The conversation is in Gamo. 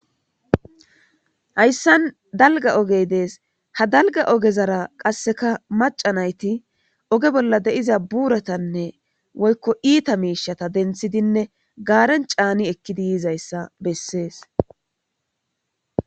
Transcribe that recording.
Hayissani daligga oggey desi oge bollanika macca nayiti buratane woyiko itta mishata denithidine gareni cani eki yidayissa bessesi